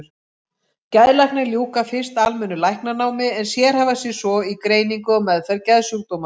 Geðlæknar ljúka fyrst almennu læknanámi en sérhæfa sig svo í greiningu og meðferð geðsjúkdóma.